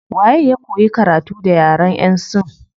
Waye ya koyi karatu da yaren yan sin